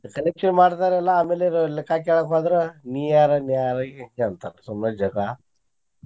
Collection ಮಾಡ್ತಾರ ಎಲ್ಲಾ ಆಮೇಲೆ ಲೆಕ್ಕಾ ಕೇಳಾಕ್ ಹೋದ್ರ ನೀ ಯಾರ ಸುಮ್ಮನೆ ಜಗ್ಳಾ.